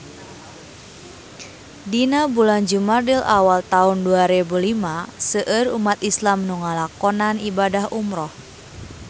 Dina bulan Jumadil awal taun dua rebu lima seueur umat islam nu ngalakonan ibadah umrah